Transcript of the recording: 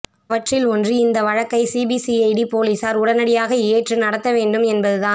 அவற்றில் ஒன்று இந்த வழக்கை சிபிசிஐடி போலீசார் உடனடியாக ஏற்று நடத்த வேண்டும் என்பது தான்